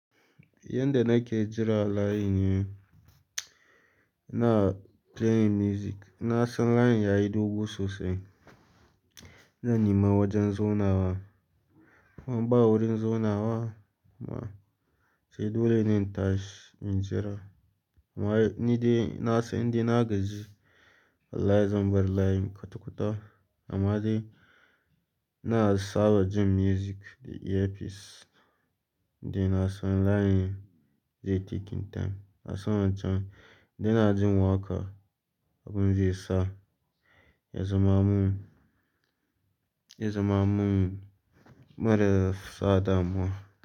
Yanda nake jira line ne, na playing music. Na san line yayi dogo sosai, zan nima wajen zaunawa. Ban ba wurin zaunawa kuma sai dole na tashi in jira. Amma ni dai na san inda na gaji line zan bar line kwata-kwata. Amma dai na saba jin music da earpiece, dai na san line zai taken time. Na san wancan, dai na jin waƙa abin zai sa, ya zama mun, ya zama mun mara sa damuwa.